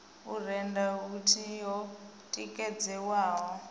u rennda yuniti yo tikedzelwaho